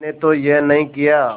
मैंने तो यह नहीं किया